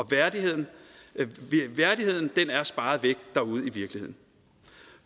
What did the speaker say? værdigheden er sparet væk derude i virkeligheden